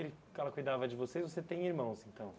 Ele ela cuidava de vocês, você tem irmãos então?